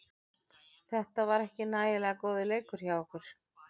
Þetta var ekki nægilega góður leikur hjá okkur.